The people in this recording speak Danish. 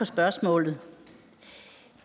spørgsmålet